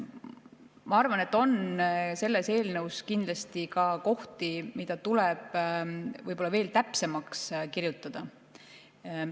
Ma arvan, et selles eelnõus on kindlasti ka kohti, mida tuleb võib-olla veel täpsemaks kirjutada.